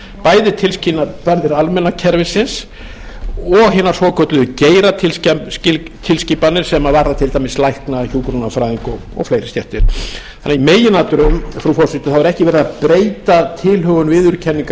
bæði tilskipanir almenna kerfisins og hinnar svokölluðu geiratilskipanir sem varða til dæmis lækna hjúkrunarfræðinga og fleiri stéttir þannig í meginatriðum frú forseti er ekki verið að breyta tilhögun viðurkenningar